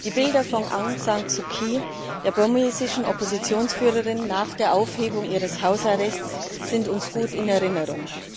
Die Bilder von Aung San Suu Kyi, der burmesischen Oppositionsführerin, nach der Aufhebung ihres Hausarrests sind uns gut in Erinnerung.